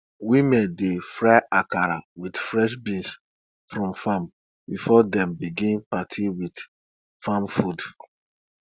women dey fry akara with fresh beans from farm before dem begin party with farm food